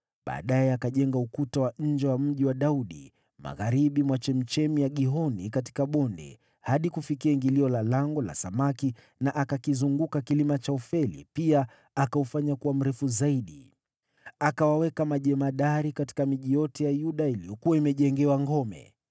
Baadaye akajenga ukuta wa nje wa Mji wa Daudi, magharibi mwa chemchemi ya Gihoni katika bonde, hadi kufikia ingilio la Lango la Samaki na akakizunguka kilima cha Ofeli, pia akaufanya kuwa mrefu zaidi. Akawaweka majemadari katika miji yote ya Yuda iliyokuwa imejengewa ngome.